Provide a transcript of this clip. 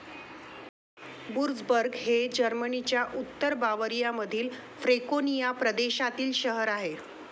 Würzburg हे जर्मनीच्या उत्तर बावरियामधील फ्रँकोनिया प्रदेशातील शहर आहे.